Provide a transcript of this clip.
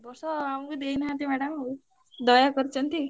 ଏ ବର୍ଷ ଆମୁକୁ ଦେଇନାହାନ୍ତି madam ଆଉ ଦୟା କରିଛନ୍ତି।